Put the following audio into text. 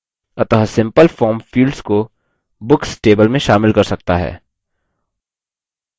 अतः simple form fields को books table में शामिल कर सकता है